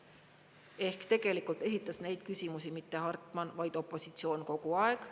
Ehk tegelikult esitas neid küsimusi mitte Hartman, vaid opositsioon kogu aeg.